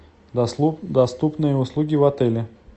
доступные услуги в отеле